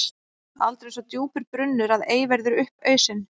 Aldrei er svo djúpur brunnur að ei verði upp ausinn.